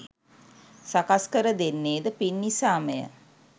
සකස් කර දෙන්නේ ද පින් නිසාමය.